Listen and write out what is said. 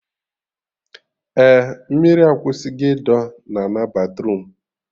Eh, mmiri akwụsị go ịdọ na ana batruum